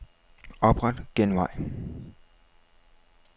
Opret genvej.